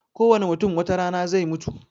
Kowane mutum watarana zai mutu